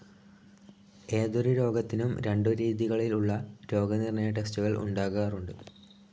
ഏതൊരു രോഗത്തിനും രണ്ടു രീതികളിൽ ഉള്ള രോഗനിർണയ ടെസ്റ്റുകൾ ഉണ്ടാകാറുണ്ട്.